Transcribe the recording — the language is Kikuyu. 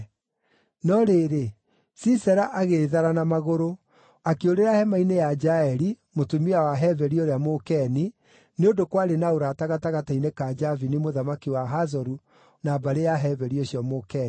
No rĩrĩ, Sisera agĩĩthara na magũrũ, akĩũrĩra hema-inĩ ya Jaeli, mũtumia wa Heberi ũrĩa Mũkeni, nĩ ũndũ kwarĩ na ũrata gatagatĩ-inĩ ka Jabini mũthamaki wa Hazoru na mbarĩ ya Heberi ũcio Mũkeni.